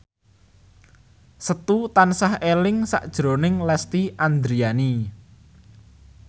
Setu tansah eling sakjroning Lesti Andryani